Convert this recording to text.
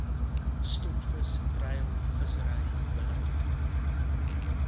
stokvis treilvissery beleid